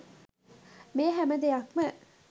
මේ හැම දෙයක්ම